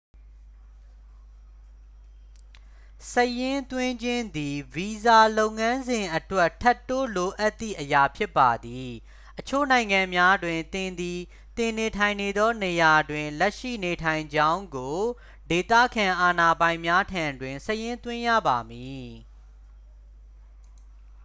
စာရင်းသွင်းခြင်းသည် ဗီဇာလုပ်ငန်းစဉ်အတွက် ထပ်တိုးလိုအပ်သည့်အရာဖြစ်ပါသည် အချို့နိုင်ငံများတွင် သင်သည် သင်နေထိုင်နေသောနေရာတွင် လက်ရှိနေထိုင်ကြောင်းကို ဒေသခံအာဏာပိုင်များထံတွင် စာရင်းသွင်းရပါမည်